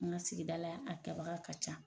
An ka sigida la ya a kɛbaga ka ca.